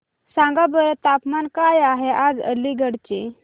सांगा बरं तापमान काय आहे आज अलिगढ चे